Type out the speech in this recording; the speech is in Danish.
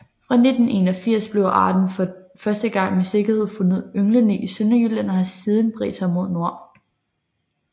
Fra 1981 blev arten for første gang med sikkerhed fundet ynglende i Sønderjylland og har siden bredt sig mod nord